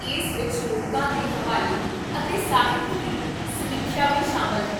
ਇਸ ਵਿੱਚ ਲੋਕਾਂ ਦੇ ਹਵਾਲੇ ਅਤੇ ਸਾਹਿਤ ਦੀ ਸਮੀਖਿਆ ਵੀ ਸ਼ਾਮਲ ਹੈ